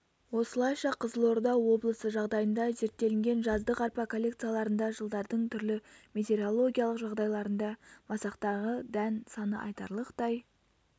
осылайша қызылорда облысы жағдайында зерттелінген жаздық арпа коллекцияларында жылдардың түрлі метеорологиялық жағдайларында масақтағы дән саны айтарлықтай